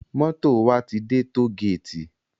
Moto wá ti dè tógéti